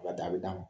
a bɛ d'a ma